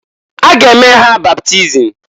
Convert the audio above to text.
A ga eme ha baptism.